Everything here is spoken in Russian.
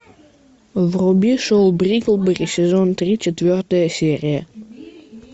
вруби шоу бриклберри сезон три четвертая серия